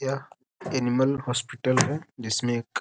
यह animal hospital है जिसमे एक --